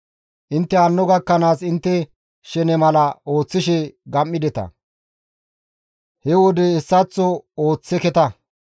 Intte hanno gakkanaas intte shene mala ooththishe gam7ideta; he wode hessaththo ooththeketa.